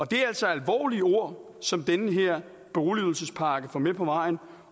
det er altså alvorlige ord som den her boligydelsespakke får med på vejen